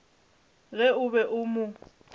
ge o be o mo